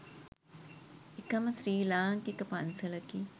එකම ශ්‍රී ලාංකික පන්සලකි.